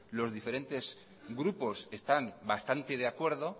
los diferentes grupos están bastante de acuerdo